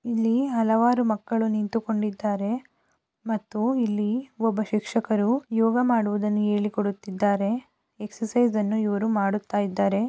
ಇಲ್ಲಿ ಹಲವಾರು ಮಕ್ಕಳು ನಿಂತುಕೊಂಡಿದ್ದಾರೆ ಮತ್ತು ಇಲ್ಲಿ ಒಬ್ಬ ಶಿಕ್ಷಕರು ಯೋಗ ಮಾಡುವುದನ್ನು ಹೇಳಿಕೊಡುತ್ತಿದ್ದಾರೆ ಎಕ್ಸರ್ಸೈಜ್ ಅನ್ನು ಇವರು ಮಾಡುತ್ತಿದ್ದಾರೆ.